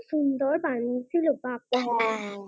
কি সুন্দর বানিয়ে ছিল